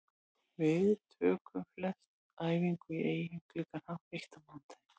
Við tókum flestir æfingu í Eyjum klukkan hálf eitt á mánudaginn.